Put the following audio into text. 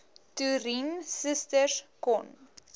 toerien susters kon